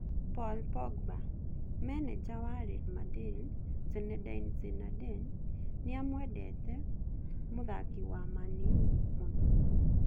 Paul Pogba: Meneja wa Real Madrid Zinedine Zidane nĩamwendete mũthaki wa Man-U mũno